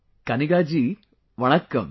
Kaniga ji, Vanakkam